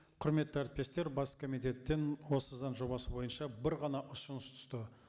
құрметті әріптестер бас комитеттен осы заң жобасы бойынша бір ғана ұсыныс түсті